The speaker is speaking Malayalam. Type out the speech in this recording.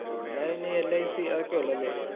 അല്ലാതെ പിന്നെ ഈ LIC അതൊക്കെയെ ഉള്ളു ല്ലേ?